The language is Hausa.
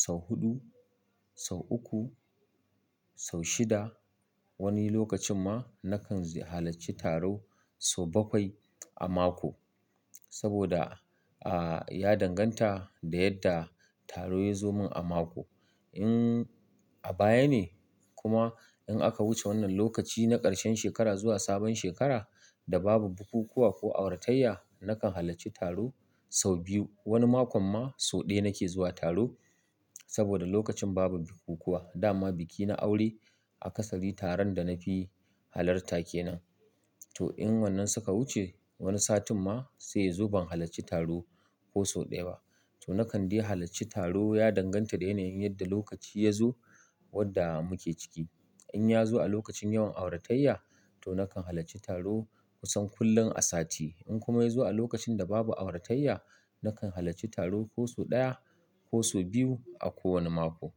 sau huɗu, sau uku, sau shida. Wani lokacin ma nakan ziyar-- halacci taro sau bakwai a mako saboda, ah, ya danganta da yadda taro ya zo mun a mako. In a baya ne kuma in aka wuce wannan lokaci na ƙarshen shekara zuwa sabon shekara da babu bukukuwa ko auratayya, nakan halacci taro sau biyu. Wani makon ma sau ɗaya nake zuwa taro saboda lokacin babu bukukuwa. Da ma biki na aure a ƙasari taron da na fi halarta kenan. To in wannan suka wuce, wani satin ma sai ya zo ban halacci taro ko sau ɗaya ba. To nakan dai halacci taro ya danganta da yanayin yadda lokaci ya zo wadda muke ciki. In ya zo a lokacin yawan auratayya, to nakan halacci taro kusan kullum a sati. In kuma yazo a lokacin da babu auratayya nakan halarci taro ko sau daya ko sau biyu a mako.